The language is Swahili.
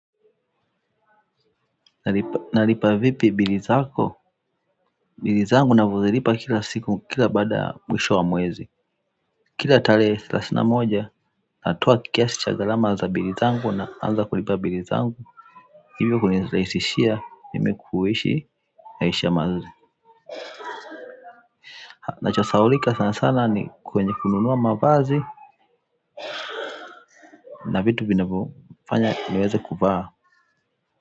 Nalipa vipi bili zako? Bili zangu ninavyozilipa kila siku kila baada ya mwisho wa mwezi kila tarehe thelathini na moja natoa kiasi cha gharama za bili zangu naanza kulipa bili zangu hivyo kunirahisishia mimi kuishi naisha mazili kinacho sahaulika sana sana ni kwenye kununua mavazi na vitu vinavyofanya niweze kuvaa.